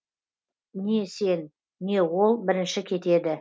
не сен не ол бірінші кетеді